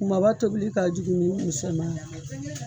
Kumaba tobili ka jugu ni misɛman ye